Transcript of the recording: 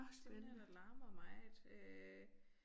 Den larmer meget øh